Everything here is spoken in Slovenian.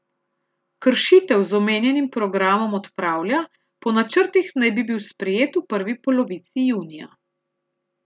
Kršitev z omenjenim programom odpravlja, po načrtih naj bi bil sprejet v prvi polovici junija.